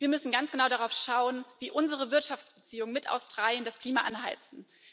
Wir müssen ganz genau darauf schauen, wie unsere Wirtschaftsbeziehungen mit Australien das Klima anheizen.